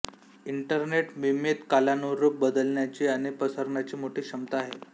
internet मिमेत कालानुरूप बदलण्याची आणि पसरण्याची मोठी क्षमता आहे